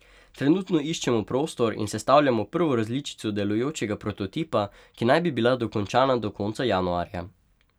Trenutno iščemo prostor in sestavljamo prvo različico delujočega prototipa, ki naj bi bila dokončana do konca januarja.